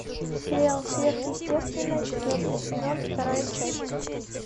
сериал сверхъестественное четвертый сезон вторая часть